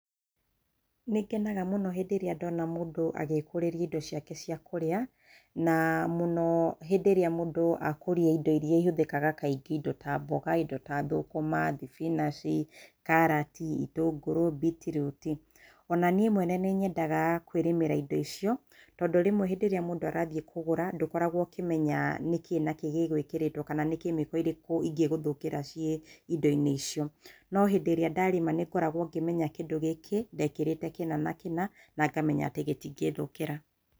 Nĩngenaga mũno hĩndĩ ĩrĩa ndona mũndũ agĩkũrĩria indo ciake ciakũrĩa, na mũno hĩndĩ ĩrĩa mũndũ akũria indo irĩa ihuthĩkaga kaingĩ ta mbũga, indo ta thũkũma, thibinanji, karati, itũngũrũ, mbiti ruti. Ona niĩ mwene nĩnyendaga kwĩrĩmĩra indo icio tondũ rĩmwe rĩrĩa mũndũ arathiĩ kũgũra ndũkoragwo ũkĩmenya nĩkĩĩ nakĩĩ gĩ gwĩkĩrĩtwo kana nĩ kemiko ĩrĩkũ ingĩgũthũkĩra ciĩ indi-inĩ icio. No hĩndĩ ĩrĩa ndarima nĩ ngoragwo ngĩmenya kĩndũ gĩkĩ ndekĩrĩte kĩna na kĩna na ngamenya atĩ gĩtingĩthũkĩra.